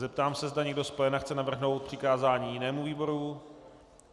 Zeptám se, zda někdo z pléna chce navrhnout přikázání jinému výboru.